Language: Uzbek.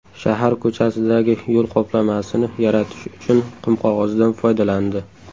Shahar ko‘chasidagi yo‘l qoplamasini yaratish uchun qumqog‘ozdan foydalandi.